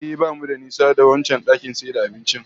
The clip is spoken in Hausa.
Ehh, bamu da nisa da wancan dakin abincin